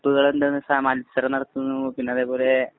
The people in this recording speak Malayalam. മത്സരം നടത്തുന്നു. പിന്നെ അതേപോലെ,